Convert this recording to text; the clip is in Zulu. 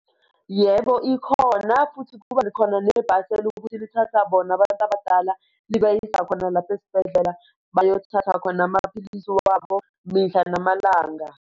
Yebo, ikhona futhi kuba khona nebhasi elukuthi lithatha bona abantu abadala libayise khona lapha esibhedlela bayothatha khona amaphilisi wabo mihla namalanga.